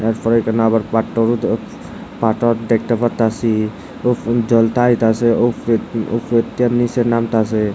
এরপরে এইখানে আবার পাট্টর দে পাথর দেখতে পারতাসি উফ জলতা আইতাসে উফ উফরে থে নীচে নামতাসে।